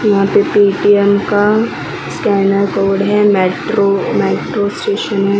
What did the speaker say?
यहां पे पेटीएम का स्कैनर बोर्ड है मेट्रो मेट्रो स्टेशन है।